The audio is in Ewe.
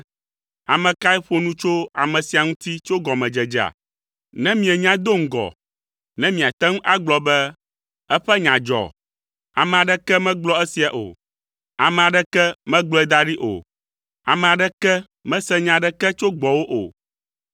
Ame kae ƒo nu tso ame sia ŋuti tso gɔmedzedzea, ne mienyae do ŋgɔ, ne miate ŋu agblɔ be, ‘Eƒe nya dzɔ?’ Ame aɖeke megblɔ esia o. Ame aɖeke megblɔe da ɖi o; ame aɖeke mese nya aɖeke tso gbɔwò o.